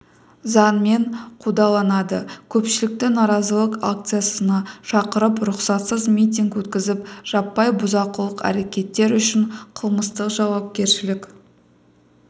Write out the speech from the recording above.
заңмен қудаланады көпшілікті наразылық акциясына шақырып рұқсатсыз митинг өткізіп жаппай бұзақылық әрекеттер үшін қылмыстық жауапкершілік